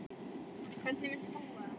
Hvernig muntu búa?